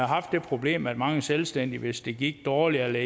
haft det problem at mange selvstændige hvis det gik dårligt eller